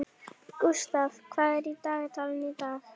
Gústaf, hvað er í dagatalinu í dag?